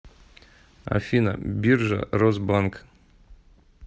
афина биржа росбанк